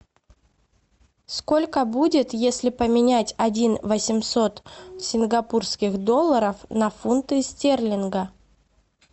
сколько будет если поменять один восемьсот сингапурских долларов на фунты стерлинга